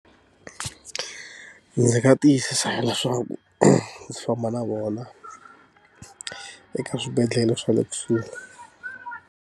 Ndzi nga tiyisisa leswaku ndzi famba na vona eka swibedhlele swa le kusuhi.